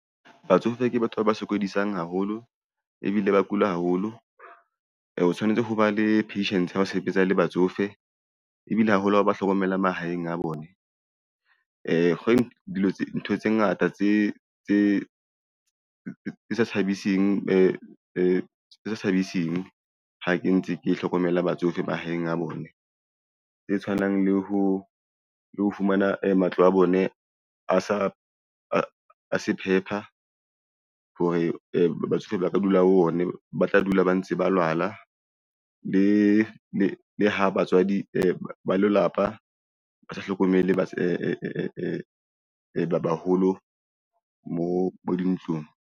Batsofe ke batho ba sokodisang haholo ebile ba kula haholo. O tshwanetse ho ba le patient ha o sebetsa le batsofe ebile haholo hao ba hlokomela mahaeng a bone dilo tse, ntho tse ngata tse sa thabising ha ntse ke hlokomela batsofe mahaeng a bone tse tshwanang le ho lo fumana matlo a bone a se phepha hore batsofe ba ka dula ho o ne ba tla dula ba ntse ba lwala le ha batswadi ba lelapa ba sa hlokomele baholo mo bo dintlong.